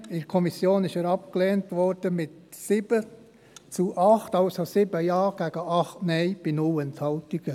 In der Kommission wurde er abgelehnt mit 7 Ja gegen 8 Nein bei 0 Enthaltungen.